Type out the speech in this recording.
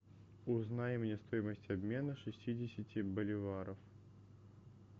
узнай мне стоимость обмена шестидесяти боливаров